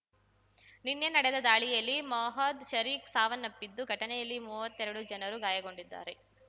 ನಿನ್ನೆ ನಡೆದ ದಾಳಿಯಲ್ಲಿ ಮೊಹದ್ ಶರೀಕ್ ಸಾವನ್ನಪ್ಪಿದ್ದು ಘಟನೆಯಲ್ಲಿ ಮೂವತ್ತೆರಡು ಜನರು ಗಾಯಗೊಂಡಿದ್ದಾರೆ